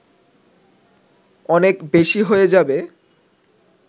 অনেক বেশি হয়ে যাবে